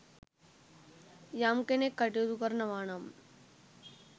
යම් කෙනෙක් කටයුතු කරනවානම්